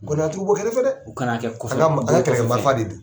Kɔɔni a tigi b'o kɛrɛfɛ dɛ? U ka na kɛ kɔfɛ Ka ta ka ta kɛlɛkɛ marifa de